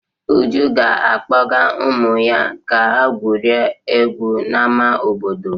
Uju ga-akpọga ụmụ ya ka gwurie egwu n'ama obodo.